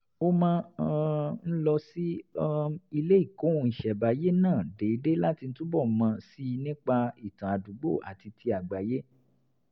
ó máa um ń lọ sí um ilé ìkóhun-ìṣẹ̀ǹbáyé náà déédéé láti túbọ̀ mọ̀ sí i nípa ìtàn àdúgbò àti ti àgbáyé